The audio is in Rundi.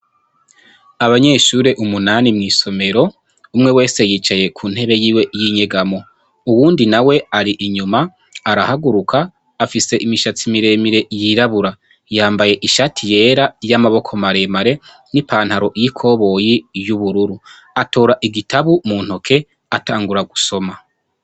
Abanyeshure umunani mw'isomero, umwe wese yicaye ku ntebe yiwe y'inyegamo. Uwundi nawe ari inyuma, arahaguruka, afise imishatsi mire mire y'irabura. Yambaye ishati yera y'amaboko mare mare n'ipantaro iy'ikoboyi y'ubururu. Atora igitabu mu ntoke atangura gusoma.